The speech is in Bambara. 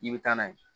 I bɛ taa n'a ye